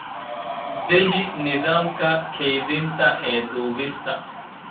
Deji nidaamka kaydinta ee dubista.